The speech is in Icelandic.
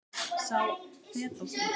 sá fetótti